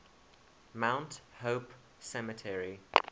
mount hope cemetery